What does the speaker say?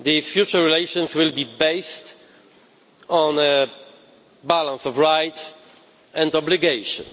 Future relations will be based on a balance of rights and obligations.